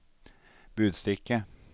budstikke